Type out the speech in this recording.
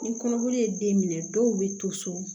Ni kɔnɔboli ye den minɛ dɔw bɛ to so